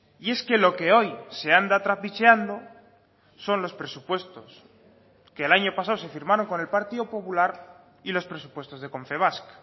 y es que lo que hoy se anda trapicheando son los presupuestos que el año pasado se firmaron con el partido popular y los presupuestos de confebask